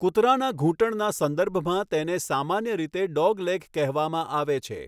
કૂતરાના ઘૂંટણના સંદર્ભમાં તેને સામાન્ય રીતે 'ડોગલેગ' કહેવામાં આવે છે.